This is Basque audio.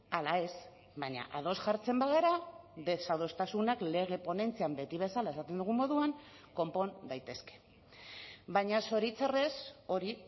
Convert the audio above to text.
ala ez baina ados jartzen bagara desadostasunak lege ponentzian beti bezala esaten dugun moduan konpon daitezke baina zoritxarrez hori